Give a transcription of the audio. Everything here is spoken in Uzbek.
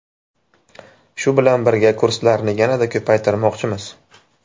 Shu bilan birga kurslarni yanada ko‘paytirmoqchimiz.